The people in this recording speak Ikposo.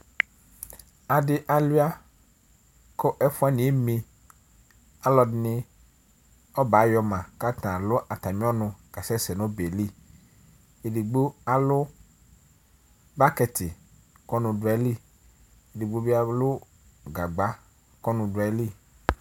Adi alʋia, kʋ ɛfʋ wani eme Ɔlɔdɩnɩ ɔbɛ ayɔ ma kʋ ata alu atami ɔnʋ kasɛsɛ nʋ ɔbɛ yɛ li Edigbo alu bɔkɩtɩ kʋ ɔnʋ du ayili, edigbo bɩ alu gagba kʋ ɔnʋ du ayili